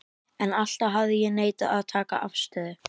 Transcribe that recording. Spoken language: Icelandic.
En alltaf hafði ég neitað að taka afstöðu.